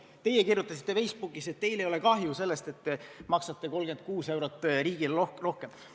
" Teie kirjutasite Facebookis, et teil ei ole kahju sellest, et te maksate 36 eurot riigile rohkem.